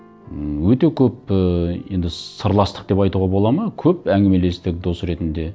ммм өте көп ыыы енді сырластық деп айтуға болады ма көп әңгімелестік дос ретінде